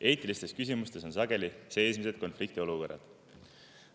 Eetilistes küsimustes on sageli seesmised konfliktiolukorrad.